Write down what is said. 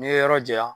N'i ye yɔrɔ janya